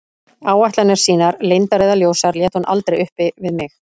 Áætlanir sínar, leyndar eða ljósar, lét hún aldrei uppi við mig.